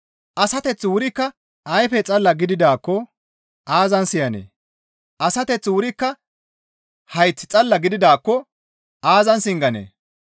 Asateththi wurikka ayfe xalla gididaakko aazan siyanee? Asateththi wurikka hayth xalla gididaakko aazan singanee?